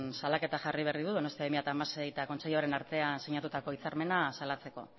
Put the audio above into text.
salaketa jarri berri du donostia bi mila hamasei eta kontseiluaren artean sinatutako hitzarmena salatzeko